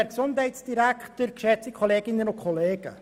Wir kommen zu den Fraktionssprecherinnen und -sprechern.